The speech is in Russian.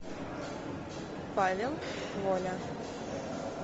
павел воля